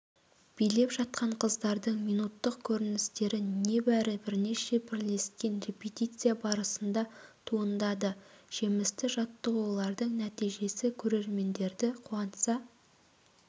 билеп жатқан қыздардың минуттық көріністері небәрі бірнеше бірлескен репетиция барысында туындады жемісті жаттығулардың нәтижесі көрермендерді қуантса